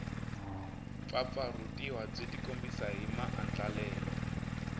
pfapfarhutiwa byi tikombisa hi maandlalelo